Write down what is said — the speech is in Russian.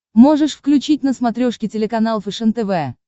можешь включить на смотрешке телеканал фэшен тв